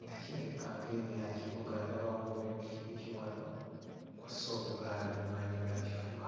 nga kirabika ngeri ya kibuga. Ndabawo n'eppikipiki wano kw'ossa obugaali bumaanyi ga kifuba.